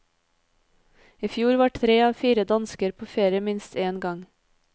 I fjor var tre av fire dansker på ferie minst en gang.